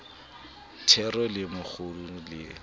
thero le mo kgoqola le